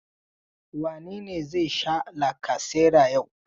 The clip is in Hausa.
Wane ne zai sha lacasera yau?